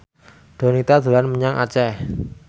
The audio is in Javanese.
Donita dolan menyang Aceh